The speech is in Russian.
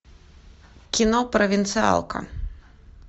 кино провинциалка